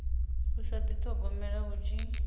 u sa dithogomela hu tshi